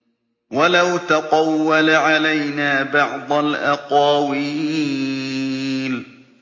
وَلَوْ تَقَوَّلَ عَلَيْنَا بَعْضَ الْأَقَاوِيلِ